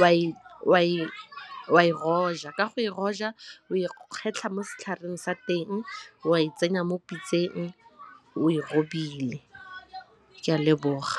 o a e roja, ka go e rojwa o e kgetlha mo setlhareng sa teng wa e tsenya mo pitseng o e robile, ke a leboga.